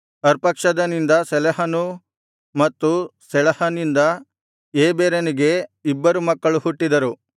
ಅರ್ಪಕ್ಷದನಿಂದ ಶೆಲಹನೂ ಮತ್ತು ಶೆಳಹನಿಂದ ಏಬೆರನೂ ಹುಟ್ಟಿದನು